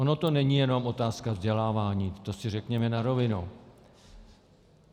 Ona to není jenom otázka vzdělávání, to si řekněme na rovinu.